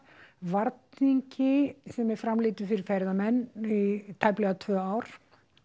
varningi sem er framleiddur fyrir ferðamenn í tæplega tvö ár